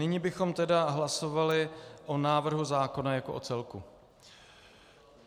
Nyní bychom tedy hlasovali o návrhu zákona jako o celku.